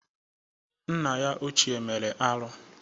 Nna ya ochie mere arụ.